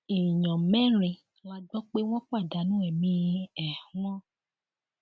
èèyàn mẹrin la gbọ pé wọn pàdánù ẹmí um wọn